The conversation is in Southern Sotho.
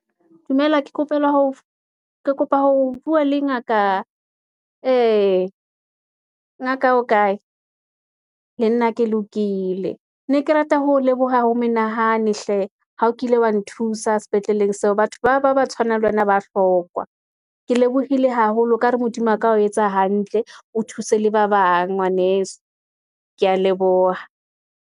Dumela ke kopela ho ke kopa ho bua le ngaka, ee, ngaka o kae le nna ke lokile. Ne ke rata ho leboha ho menahane hle, ha o kile wa nthusa sepetleleng seo, batho ba bang ba tshwanang le wena ba hlokwa. Ke lebohile haholo, ekare Modimo a ka o etsa hantle, o thuse le ba bang ngwaneso. Ke ya leboha.